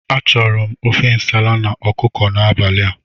Achọrọ m ofe nsala na ọkụkọ n'abalị a.